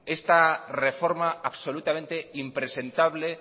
esta reforma absolutamente impresentable